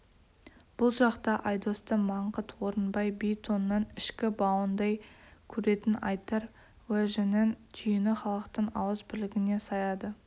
бұл жақта айдосты маңғыт орынбай би тонның ішкі бауындай көретін айтар уәжінің түйіні халықтың ауыз бірлігіне саяды